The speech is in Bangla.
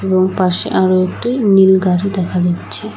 ওর পাশে আরও একটি নীল গাড়ি দেখা যাচ্ছে।